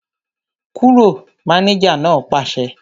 Kúrò! Mánéjà náà pàṣẹ